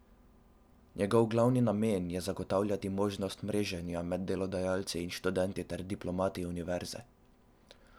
Njegov glavni namen je zagotavljati možnost mreženja med delodajalci in študenti ter diplomanti univerze.